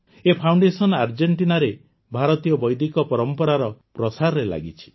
ଏ foundation ଆର୍ଜେଂଟିନାରେ ଭାରତୀୟ ବୈଦିକ ପରମ୍ପରାର ପ୍ରସାରରେ ଲାଗିଛି